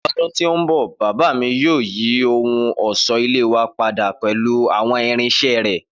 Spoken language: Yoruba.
Ni ọdun to nbọ baba mi yoo yi ohun ọṣọ-ile wa pada pẹlu awọn irinṣẹ rẹ.